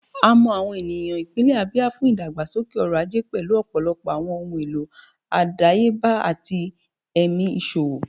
A mọ awọn eniyan ipinlẹ Abia fun idagbasoke ọrọ-aje, pẹlu ọpọlọpọ awọn ohun elo adayeba ati ẹmi iṣowo.